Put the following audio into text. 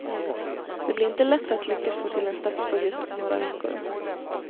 Det blir inte lätt att lyckas få till en statsbudget på några veckor.